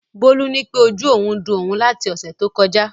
Bólú nípé ojú òun ń dun òun láti ọ̀sẹ̀ tó kọjá